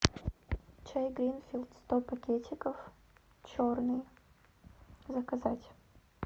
чай гринфилд сто пакетиков черный заказать